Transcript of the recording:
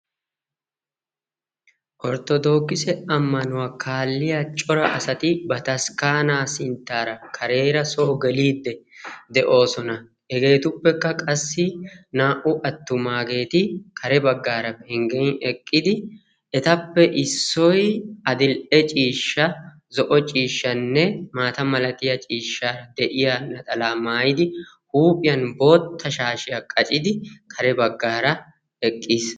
Orttodoogise ammanuwa kaalliya cora asati bataskkaanaa sinttaara kareera soo geliiddi de'oosona. Hegeetuppekka qassi naa"u attumaageeti Kare baggaara pengen eqqidi etappe issoy adil'e ciishsha, zo'o ciishshanne maata malatiya ciishsha de'iya naxalaa mayidi huuphiyan bootta shaashiya qacidi kare baggaara eqqis.